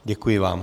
Děkuji vám.